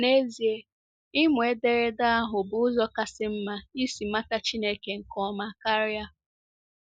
N’ezie, ịmụ ederede ahụ bụ ụzọ kasị mma isi mata Chineke nke ọma karịa.